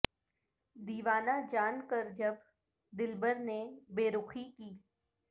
دیوانہ جان کر جب دلبر نے بے رخی کی